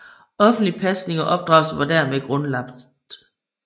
Offentlig pasning og opdragelse var dermed grundlagt